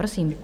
Prosím.